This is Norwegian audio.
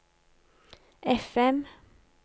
FM